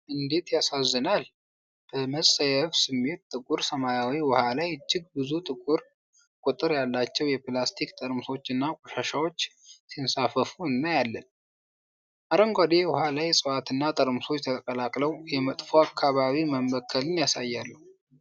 እንዴት ያሳዝናል! በመጸየፍ ስሜት፣ ጥቁር ሰማያዊ ውሃ ላይ እጅግ ብዙ ቁጥር ያላቸው የፕላስቲክ ጠርሙሶችና ቆሻሻዎች ሲንሳፈፉ እናያለን። አረንጓዴ የውሃ ላይ እፅዋትና ጠርሙሶች ተቀላቅለው የመጥፎ አካባቢ መበከልን ያሳያሉ።